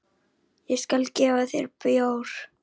Ég skal gefa þér bjór.